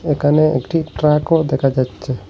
এখানে একটি ট্রাকও দেখা যাচ্চে।